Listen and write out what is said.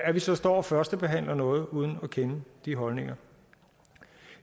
at vi så står og førstebehandler noget uden at kende de holdninger